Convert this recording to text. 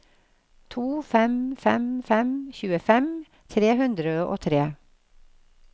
to fem fem fem tjuefem tre hundre og tre